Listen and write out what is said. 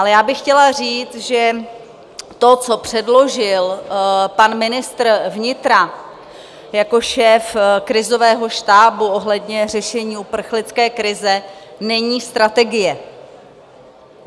Ale já bych chtěla říct, že to, co předložil pan ministr vnitra jako šéf krizového štábu ohledně řešení uprchlické krize, není strategie.